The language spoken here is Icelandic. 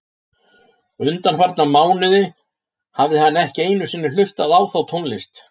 Undanfarna mánuði hafði hann ekki einu sinni hlustað á þá tónlist.